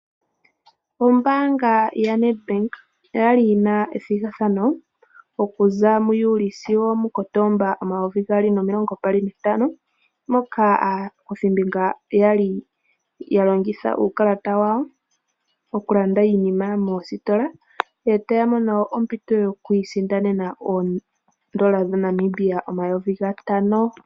Ombaanga ya NedBank oyali yi na ethigathano okuza mu Juli sigo omu Kotoba omayovi gaali nomilongo mbali nantano, moka aakuthimbinga yali ya longitha uukalata wawo okulanda iinima moositola e taya mono ompito yoku isindanene oodola dha Namibia omayovi gatano.